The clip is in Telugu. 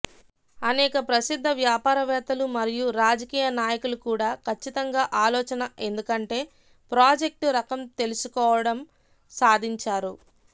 అనేక ప్రసిద్ధ వ్యాపారవేత్తలు మరియు రాజకీయ నాయకులు కూడా ఖచ్చితంగా ఆలోచన ఎందుకంటే ప్రాజెక్టు రకం తెలుసుకోవటం సాధించారు